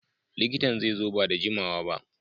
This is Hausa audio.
Likitan zai zo ba da jimawa ba.